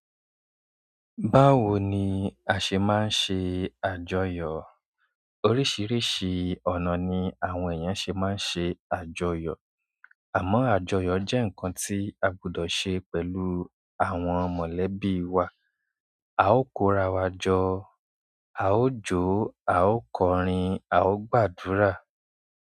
Báwo ni a ṣe máa ń ṣe àjọyọ̀? Oríṣiríṣi ọ̀nà ni àwọn èèyàn ṣe máa ń ṣe àjọyọ̀. Amo àjọyọ̀ je nkan ti a gbodo se pẹ̀lú àwọn mọ̀lẹ́bí wa. A ó kora wàjọ, a ó jó, a ó kọrin, a ó gbàdúrà.